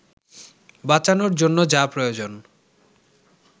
বাঁচানোর জন্য যা প্রয়োজন